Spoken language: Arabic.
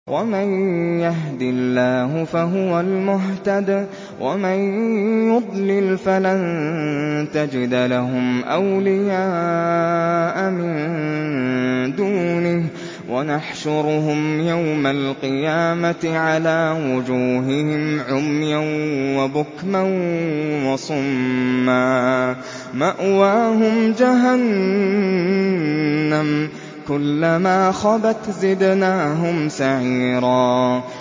وَمَن يَهْدِ اللَّهُ فَهُوَ الْمُهْتَدِ ۖ وَمَن يُضْلِلْ فَلَن تَجِدَ لَهُمْ أَوْلِيَاءَ مِن دُونِهِ ۖ وَنَحْشُرُهُمْ يَوْمَ الْقِيَامَةِ عَلَىٰ وُجُوهِهِمْ عُمْيًا وَبُكْمًا وَصُمًّا ۖ مَّأْوَاهُمْ جَهَنَّمُ ۖ كُلَّمَا خَبَتْ زِدْنَاهُمْ سَعِيرًا